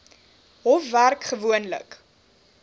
hof werk gewoonlik